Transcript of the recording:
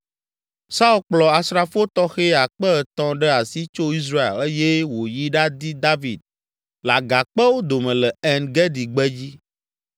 Saul kplɔ asrafo tɔxɛ akpe etɔ̃ ɖe asi tso Israel eye wòyi ɖadi David le agakpewo dome le En Gedi gbedzi.